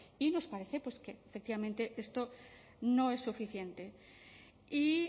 y nos parece pues que efectivamente esto no es suficiente y